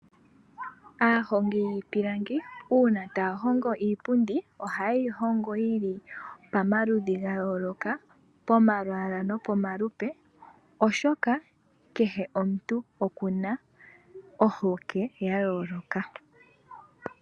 Aahongi yiipilangi uuna ta ya hongo iipundi, oha ye yi hongo yili pomaludhi ga yooloka, pomalwaalwa no po malupe, oshoka kehe omuntu okuna ohokwe ya yooloka